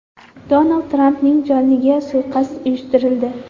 Donald Trampning joniga suiqasd uyushtirildi.